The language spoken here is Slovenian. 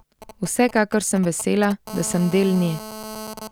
Vsekakor sem vesela, da sem del nje.